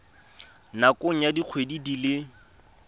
nakong ya dikgwedi di le